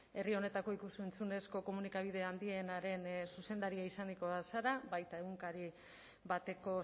herri honetako ikus entzunezko komunikabide handienaren zuzendaria izanikoa zara baita egunkari bateko